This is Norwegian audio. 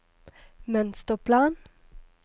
mønsterplan